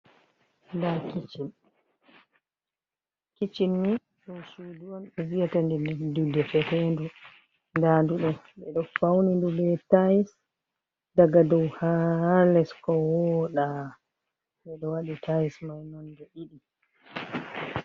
Nda kicchin, kicin ni ɗum suudu on ɓe viyata ndu nde leddude fehendu, nda ndu ɗo ɓeɗo fauni ndu be tais daga dow ha. les ko woɗa, ɓe ɗo waɗi tais mai nonde ɗiɗi.